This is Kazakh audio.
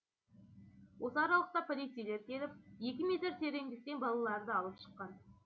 осы аралықта полицейлер келіп екі метр тереңдіктен балаларды алып шыққан